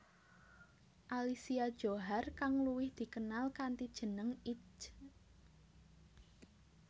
Alicia Djohar kang luwih dikenal kanthi jeneng Itje